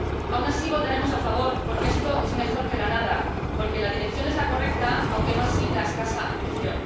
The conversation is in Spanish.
Aun así, votaremos a favor, porque esto es mejor que la nada, porque la dirección es la correcta, aunque no así la escasa ambición.